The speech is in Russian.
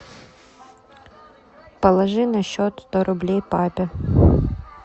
положи на счет сто рублей папе